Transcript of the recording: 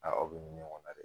Aa aw be nin ɲɔgɔn na dɛ